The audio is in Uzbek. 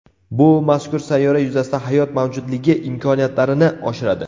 Bu mazkur sayyora yuzasida hayot mavjudligi imkoniyatlarini oshiradi.